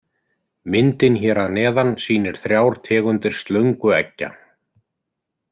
Myndin hér að neðan sýnir þrjár tegundir slöngueggja.